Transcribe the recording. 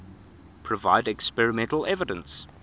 provide experimental evidence